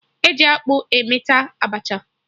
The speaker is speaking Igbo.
E ji akpụ emeta Abacha